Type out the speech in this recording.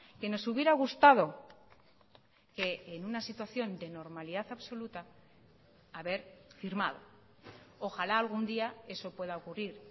que nos hubiera gustado que en una situación de normalidad absoluta haber firmado ojalá algún día eso pueda ocurrir